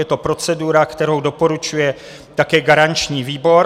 Je to procedura, kterou doporučuje také garanční výbor.